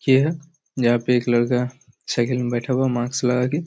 यह जहाँ पे एक लड़का साईकिल मैं बैठा हुआ मास्क लगा के--